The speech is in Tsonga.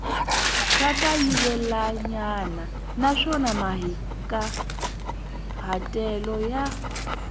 ra kayivelanyana naswona mahikahatelo ya